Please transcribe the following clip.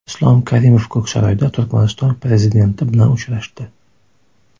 Islom Karimov Ko‘ksaroyda Turkmaniston prezidenti bilan uchrashdi.